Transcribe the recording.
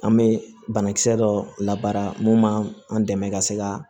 An bɛ banakisɛ dɔ labara mun ma an dɛmɛ ka se ka